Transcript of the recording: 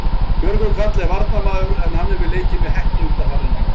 Björgvin Karl er varnarmaður en hann hefur leikið með Hetti undanfarin ár.